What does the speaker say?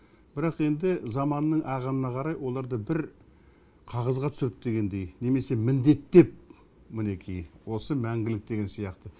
бірақ енді заманның ағымына қарай оларды бір қағазға түсіріп дегендей немесе міндеттеп мінекей осы мәңгілік деген сияқты